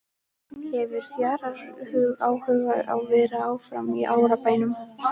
Hefur Fjalar áhuga á að vera áfram í Árbænum?